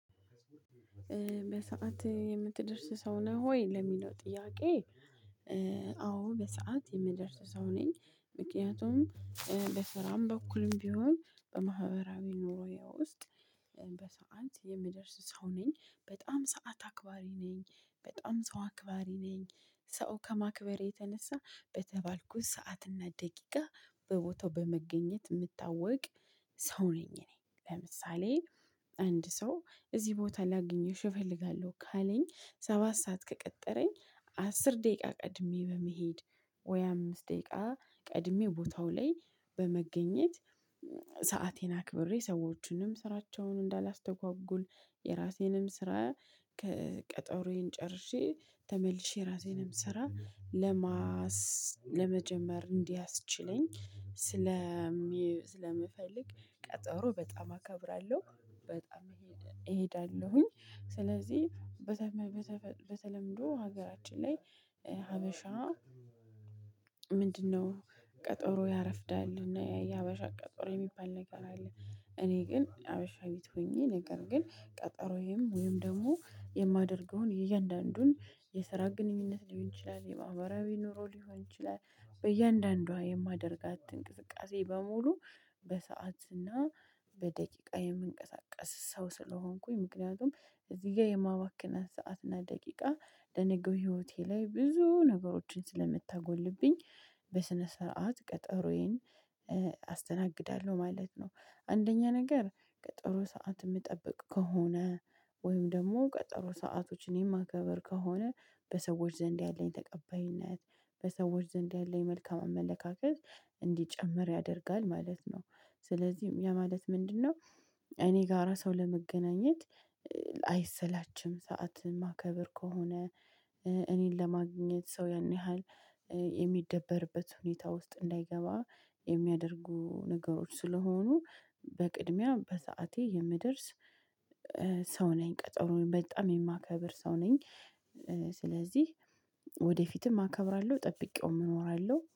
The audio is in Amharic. በሰአት የምትደርስ ሰው ነህ ወይ ለሚለው ጥያቄ? አዎ በሰአት የምደርስ ሰው ነኝ ምክንያቱም በስራም በኩልም ቢሆን በማህበራዊ ኑሮዬ ውስጥ። በሰአት የምደርስ ሰው ነኝ በጣም ሰዓት አክባሪ ነኝ በጣም ሰው አክባሪ ነኝ ሰው ከማክበሬ የተነሳ በተባልኩት ሰዓትና ደቂቃ በቦታው በመገኘት የምታወቅ ሰው ነኝ። እኔ ለምሳሌ አንድ ሰው እዚህ ቦታ ላግኝሽ እፈልጋለሁ ካለኝ ሰባት ሰዓት ከቀጠረኝ አስር ደቂቃ ቀድሜ በመሄድ ወይ አምስት ደቂቃ ቀድሜው ቦታው ላይ በመገኘት። ሰአቴን አክብሬ ሰዎችንም ስራቸውን እንዳላስተጓጉል የራሴንም ስራ ከቀጠሮዬ ጨርሼ ተመልሼ ራሴንም ስራ ለማስ ለመጀመር እንዲያስችለኝ ስለምፈልግ ቀጠሮ በጣም አከብራለሁ። በጣም እሄዳለሁኝ ስለዚህ በተለምዶ ሀገራችን ላይ ሀበሻ። ምንድነው? ቀጠሮ ያረፍዳልና የሀበሻ ቀጠሮ የሚባል ነገር አለ። እኔ ግን ሀበሻዊት ሆኜ ነገር ግን ቀጠሮዬም ወይም ደግሞ የማደርገውን የእያንዳንዱን የስራ ግንኙነት ሊሆን ይችላል የማህበራዊ ኑሮ ሊሆን ይችላል በእያንዳንዷ የማደርጋት እንቅስቃሴ በሙሉ። በሰዓትና በደቂቃ የምንቀሳቀስ ሰው ስለሆንኩኝ ምክንያቱም እዚህ ጋር የማባክነት ሰዓት እና ደቂቃ ለነገው ህይወቴ ላይ ብዙ ነገሮችን ስለምታጎልብኝ በስነ ስርዓት ቀጠሮዬን አስተናግዳለሁ ማለት ነው። አንደኛ ነገር ቀጠሮ ሰዓት የምጠብቅ ከሆነ ወይም ደግሞ ቀጠሮ ሰአቶችን የማከብር ከሆነ በሰዎች ዘንድ ያለኝ ተቀባይነት በሰዎች ዘንድ ያለኝ መልካም አመለካከት እንዲጨምር ያደርጋል ማለት ነው። ስለዚህ ይሄ ማለት ምንድነው? እኔ ጋራ ሰው ለመገናኘት አይሰላችም ሰዓትን ማከብር ከሆነ እኔን ለማግኘት ሰው ያን ያህል የሚደበርበት ሁኔታ ውስጥ እንዳይገባ የሚያደርጉ ነገሮች ስለሆኑ በቅድሚያ በሰአቴ የምደርስ። ሰው ነኝ ቀጠሮዬን በጣም የማከብር ሰው ነኝ። ስለዚህ ወደፊትም አከብራለሁ ጠብቄውም እኖራለሁ